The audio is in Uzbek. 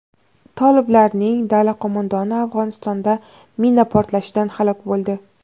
Toliblarning dala qo‘mondoni Afg‘onistonda mina portlashidan halok bo‘ldi.